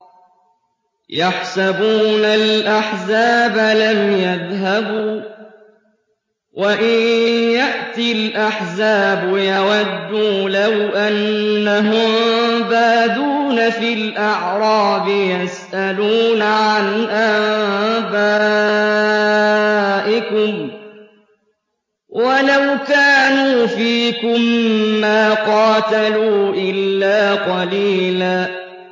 يَحْسَبُونَ الْأَحْزَابَ لَمْ يَذْهَبُوا ۖ وَإِن يَأْتِ الْأَحْزَابُ يَوَدُّوا لَوْ أَنَّهُم بَادُونَ فِي الْأَعْرَابِ يَسْأَلُونَ عَنْ أَنبَائِكُمْ ۖ وَلَوْ كَانُوا فِيكُم مَّا قَاتَلُوا إِلَّا قَلِيلًا